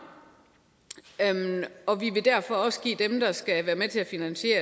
og vi vil derfor også give dem der skal at det